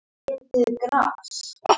Birkimörk